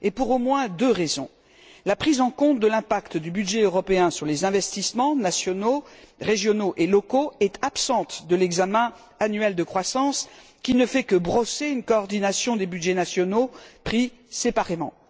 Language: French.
Et pour au moins deux raisons la prise en compte de l'impact du budget européen sur les investissements nationaux, régionaux et locaux est absente de l'examen annuel de croissance, qui ne fait que brosser une coordination des budgets nationaux pris séparément.